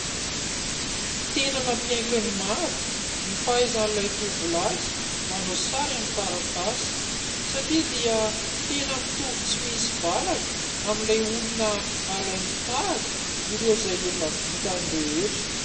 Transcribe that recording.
Tena nampiaiky ny maro ny fahaizan'ilay tovolahy manao sary amin'ny taratasy satria dia tena mitovy tsy misy valaka amin'ilay olona alainy tahaka ireo izay efa vitany rehetra.